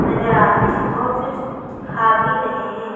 नजर आ रहे हैं और कुछ खा भी रहे हैं।